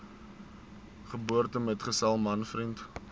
geboortemetgesel man vriend